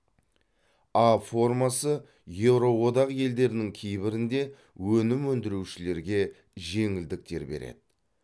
а формасы еуроодақ елдерінің кейбірінде өнім өндірушілерге жеңілдіктер береді